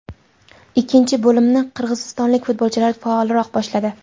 Ikkinchi bo‘limni qirg‘izistonlik futbolchilar faolroq boshladi.